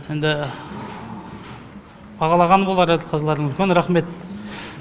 енді бағалаған болар әділ қазылар үлкен рахмет